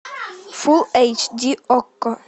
фулл эйч ди окко